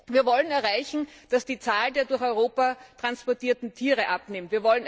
Wir wollen erreichen, dass die Zahl der durch Europa transportierten Tiere abnimmt.